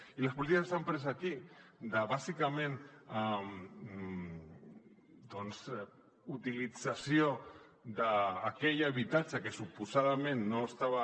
i les polítiques que s’han pres aquí de bàsicament utilització d’aquell habitatge que suposadament no estava